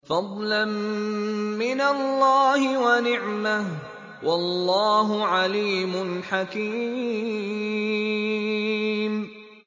فَضْلًا مِّنَ اللَّهِ وَنِعْمَةً ۚ وَاللَّهُ عَلِيمٌ حَكِيمٌ